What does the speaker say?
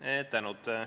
Suur tänu!